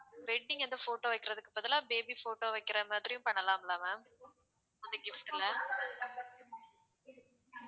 wedding வந்து photo வைக்கிறதுக்கு பதிலா baby photo வைக்கிற மாதிரியும் பண்ணலாம்ல ma'am அந்த gift ல